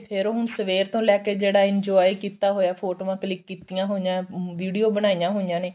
ਫੇਰ ਹੁਣ ਸਵੇਰ ਤੋਂ ਲੈਕੇ ਜਿਹੜਾ enjoy ਕੀਤਾ ਹੋਈਆਂ ਫੋਟੋਆਂ click ਕੀਤੀਆਂ ਹੋਈਆਂ video ਬਣਾਈਆਂ ਹੋਈਆਂ ਨੇ